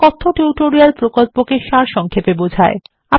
এটি কথ্য টিউটোরিয়াল প্রকল্পকে সারসংক্ষেপে বোঝায়